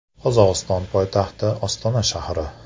Qozog‘iston poytaxti Ostona shahri.